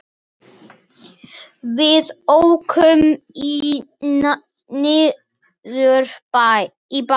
Við ókum niður í bæ.